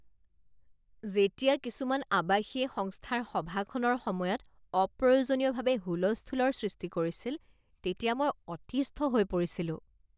যেতিয়া কিছুমান আৱাসীয়ে সংস্থাৰ সভাখনৰ সময়ত অপ্ৰয়োজনীয়ভাৱে হুলস্থুলৰ সৃষ্টি কৰিছিল তেতিয়া মই অতিস্থ হৈ পৰিছিলোঁ।